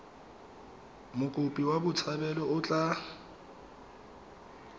mokopi wa botshabelo o tla